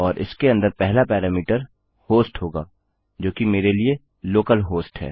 और इसके अंदर पहला पैरामीटर होस्ट होगा जो कि मेरे लिए लोकलहोस्ट है